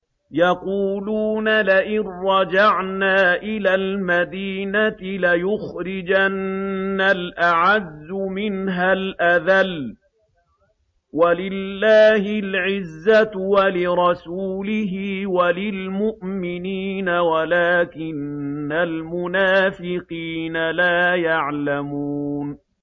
يَقُولُونَ لَئِن رَّجَعْنَا إِلَى الْمَدِينَةِ لَيُخْرِجَنَّ الْأَعَزُّ مِنْهَا الْأَذَلَّ ۚ وَلِلَّهِ الْعِزَّةُ وَلِرَسُولِهِ وَلِلْمُؤْمِنِينَ وَلَٰكِنَّ الْمُنَافِقِينَ لَا يَعْلَمُونَ